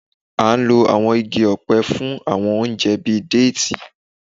A n lo àwọn igi ọ̀pẹ fún àwọn oúnjẹ bíi déètì.